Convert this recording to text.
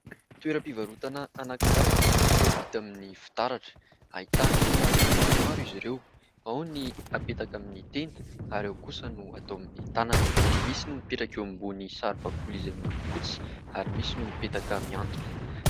Toeram-pivarotana anakiray izay vita amin'ny fitaratra ; ahitana karazany maromaro izy ireo, ao ny hapetaka amin'ny tenda ary ao kosa no atao amin'ny tanana. Misy no mipetraka eo ambonin'ny saribakoly izay miloko fotsy ary misy no mipetaka miantona.